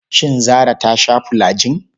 Shin Zarah ta sha fulajin?